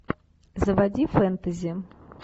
заводи фэнтези